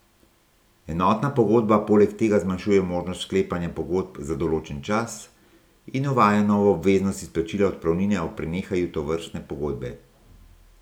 Enotna pogodba poleg tega zmanjšuje možnost sklepanja pogodb za določen čas in uvaja novo obveznost izplačila odpravnine ob prenehanju tovrstne pogodbe.